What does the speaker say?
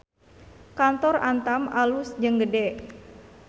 Kantor Antam alus jeung gede